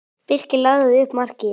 Birkir lagði upp markið.